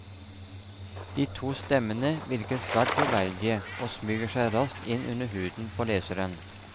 De to stemmene virker svært troverdige og smyger seg raskt inn under huden på leseren.